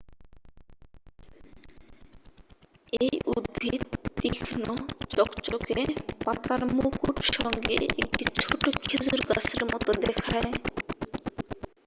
এই উদ্ভিদ তীক্ষ্ণ চকচকে পাতার মুকুট সঙ্গে একটি ছোট খেজুর গাছের মত দেখায়